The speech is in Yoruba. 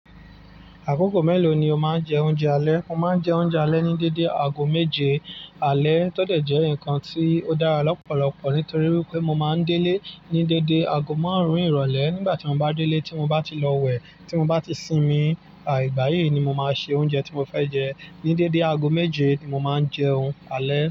Àkókò mélòó ni o máa ń jẹ oúnjẹ alẹ́? Mo máa ń jẹ oúnjẹ alẹ́ ní dédé aago méje. Alẹ́ tọ́ dẹ̀ jẹ́ nǹkan tí ó dára lọ́pọ̀lọpọ̀ nítorí wípé mo máa ń délé ní dédé aago márùn-ún ìrọ̀lẹ́ nígbà tí mo bá délé tí mo bá ti lọ wẹ̀, tí mo bá ti sinmi, à ìgbàyi ni mo máa ṣe oúnjẹ tí mo fẹ́ jẹ. Ní dédé aago méje ni mo máa ń jẹun alẹ́.